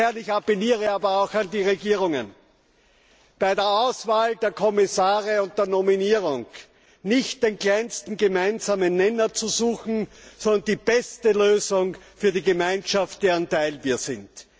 Ich appelliere aber auch an die Regierungen, bei der Auswahl der Kommissare und der Nominierung nicht den kleinsten gemeinsamen Nenner zu suchen, sondern die beste Lösung für die Gemeinschaft, deren Teil wir sind.